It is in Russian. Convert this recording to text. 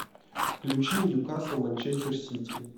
включи ньюкасл манчестер сити